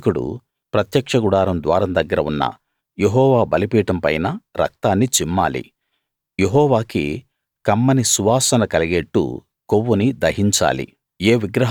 యాజకుడు ప్రత్యక్ష గుడారం ద్వారం దగ్గర ఉన్న యెహోవా బలిపీఠం పైన రక్తాన్ని చిమ్మాలి యెహోవాకి కమ్మని సువాసన కలిగేట్టు కొవ్వుని దహించాలి